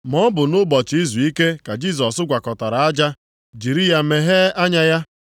Ma ọ bụ nʼụbọchị izuike ka Jisọs gwakọtara aja, jiri ya meghe anya ya.